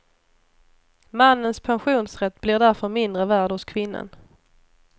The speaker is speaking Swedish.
Mannens pensionsrätt blir därför mindre värd hos kvinnan.